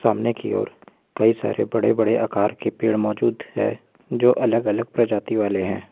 सामने की ओर कई सारे बड़े बड़े आकर के पेड़ मौजूद है जो अलग अलग प्रजाति वाले है।